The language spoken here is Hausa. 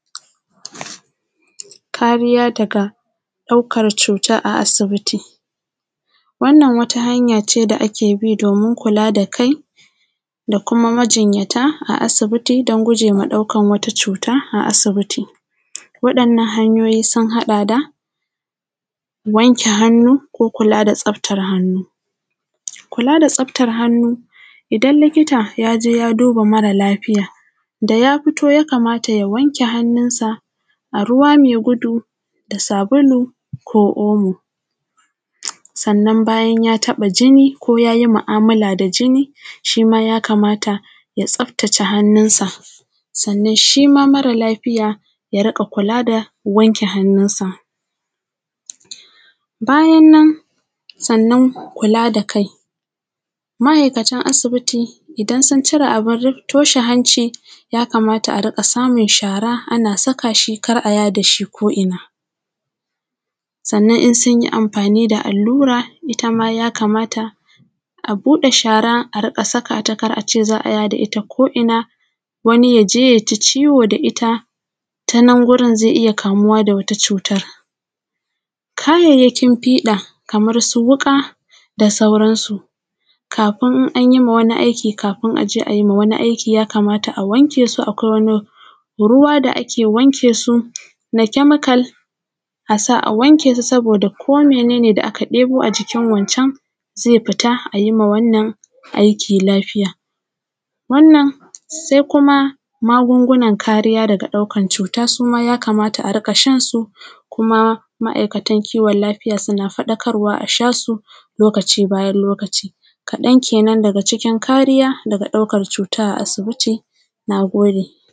Kariya daga ɗaukan cuta a asibiti. Wannan wata hanya ce da ake bi domin kula da kai da kuma majinyata a asibiti don gujewa ɗaukan wata cuta a asibiti, wayannan hanyoyi sun haɗa da wanke hanu ko kula da tsaftan hannu, kula da tsaftan hannu idan likita ya duba mara lafiya da ya fito ya kamata ya wanke hannunsa a ruwa mai gudu da sabulu ko omo, sannan bayan ya taɓa jini ko ya yi mu’amala da jini shi ma ya kamata ya tsafatace hannunsa. Sannan shi ma mara lafiya ya riƙa kula da wanke hannunsa bayan nan sannan kula da kai ma’aikatan asibiti idan sun cire abin toshe hanci, ya kamat a riƙa samun shara ana zuba shi kar a yaɗa shi ko’ina sannan in sun yi amfanin da allura ita ma ya kamata a buɗe shara a zubata kar aje, za a yaɗata ko’ina wani ya je ya ji ciwo da ita, tanan wurin zai iya kamuwa da wani cutan. Kayayyakin fiɗa kamansu wuƙa da sauransu an yi ma wani aiki kafin ai ma wani aiki ya kamata aje a wanke domin akwai wani ruwa ne da ake wanke su na kemikal, a sa a wanke su ko mene ne aka ɗebu a jikin wancan ze fita, a yi ma wannan aiki lafiya, wannan shi kuma magungunan kariya daga ɗaukan cuta, ya kamata a riƙa shan su kuma ma’aikatan kiwon lafiya suna faɗakarwa a sha su lokaci bayan lokaci, ɗaya kenan daga cikin kari da ɗaukan cuta a asibiti.